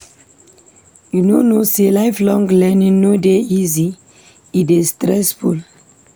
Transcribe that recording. You no know sey lifelong learning no dey easy? e dey stressful.